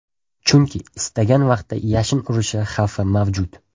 Chunki istagan vaqtda yashin urishi xavfi mavjud.